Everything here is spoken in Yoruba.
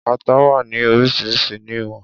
Ata wà ní oríṣiríṣi ní ìwọ̀n